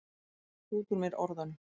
Spýti út úr mér orðunum.